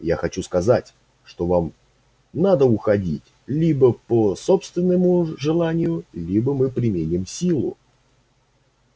я хочу сказать что вам надо уходить либо по собственному желанию либо мы применим силу